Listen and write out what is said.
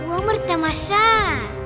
өмір тамаша